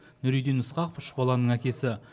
нұриддин ысқақов үш баланың әкесі